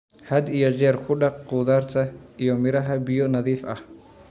Had iyo jeer ku dhaq khudaarta iyo miraha biyo nadiif ah.